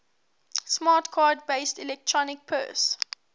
smart card based electronic purse